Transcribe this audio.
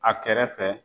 A kɛrɛfɛ